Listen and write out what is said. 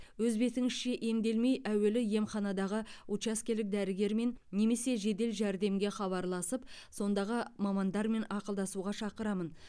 өз бетіңізше емделмей әуелі емханадағы учаскелік дәрігермен немесе жедел жәрдемге хабарласып сондағы мамандармен ақылдасуға шақырамын